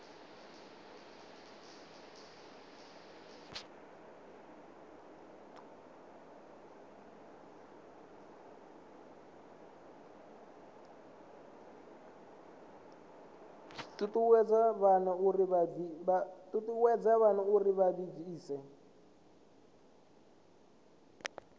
ṱuṱuwedza vhana uri vha ḓibvise